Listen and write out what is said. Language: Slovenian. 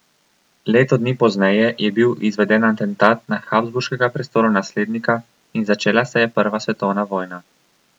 Leto dni pozneje je bil izveden atentat na habsburškega prestolonaslednika in začela se je prva svetovna vojna.